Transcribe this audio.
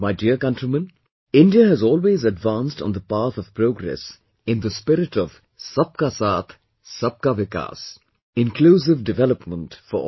My dear countrymen, India has always advanced on the path of progress in the spirit of Sabka Saath, Sabka Vikas... inclusive development for all